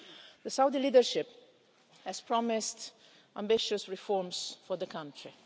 The Saudi leadership has promised ambitious reforms for the country.